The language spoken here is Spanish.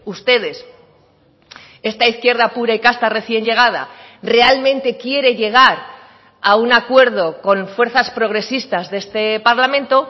ustedes esta izquierda pura y casta recién llegada realmente quiere llegar a un acuerdo con fuerzas progresistas de este parlamento